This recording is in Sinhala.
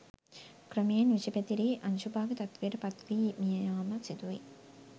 ක්‍රමයෙන් විෂ පැතිරී අංශභාග තත්වයට පත් වී මිය යාම සිදුවේ.